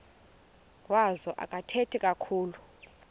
wazo akathethi kakhulu